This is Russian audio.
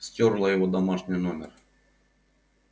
стёрла его домашний номер